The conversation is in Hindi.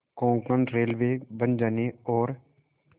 कोंकण रेलवे बन जाने और